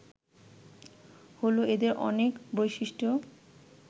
হল এদের অনেক বৈশিষ্ট্য